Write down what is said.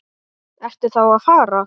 Ertu þá að fara?